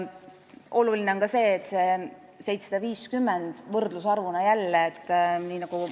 Oluline on selle 750 kõrval välja tuua ka üks võrdlusarv.